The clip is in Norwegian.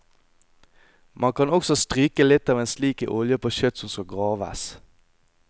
Man kan også stryke litt av en slik i olje på kjøtt som skal graves.